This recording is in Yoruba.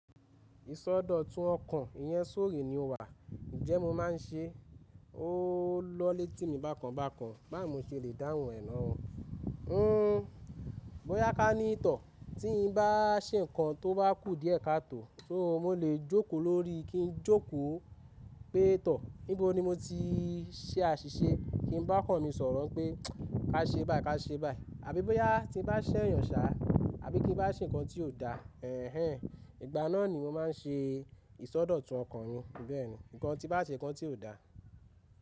Ìsọdọ̀tun ọ̀kan iyẹn sóul renewal. Ń jé mó máa ń se, ó lò létí mi bákan bákan, báwo ni mo se lè dáhùn e na ó. Bóyá ká ní tò, tí ń bá se nkan tó bá kú die ká tó, so mo lè jòkó lórí, kí n jókó pé tò. Níbo ni mo ti ṣe àṣìṣe? Ki n bá ọkàn mi sọ̀rọ̀ ń pé ká ṣe báyìí, ká ṣe báyìí. Àbí bóyá tí n bá ṣẹ̀yàn ṣá, àbí kí n bá ṣe nǹkan tí ò da. Ẹ̀hẹn, ìgbà náà ni mo máa ń ṣe ìsọdọ̀tun ọ̀kan yẹn bẹ́ẹ̀ni. Ǹkan tí bá ṣe nǹkan tí ò da.